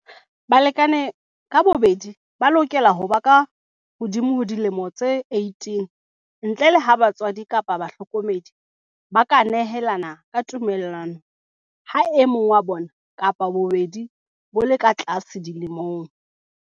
Balekane ka bobedi ba lokela ho ba kahodimo ho dilemo tse 18, ntle le ha batswadi kapa bahlokomedi ba ka nehelana ka tumellano ha e mong wa bona kapa bobedi bo le ka tlase dilemong.